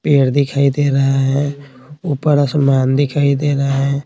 पेड़ दिखाई दे रहा है ऊपर आसमान दिखाई दे रहा है।